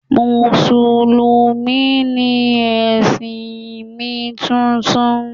musulumi ni ẹ̀sìn mi titun